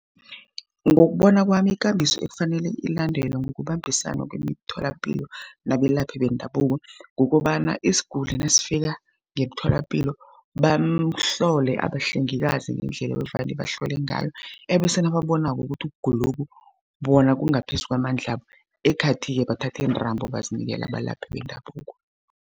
Ngokubona kwami ikambiso ekufanele ilandelwe ngokubambisana kwemitholapilo nabelaphi bendabuko, kukobana isiguli nasifika ngemtholapilo bamhlole abahlengikazi ngendlela evane bahlole ngayo, ebese nababonako ukuthi ukugulokhu bona kungaphezu kwamandlabo ekhathi-ke bathatha iintambo bazinikele abalaphi bendabuko.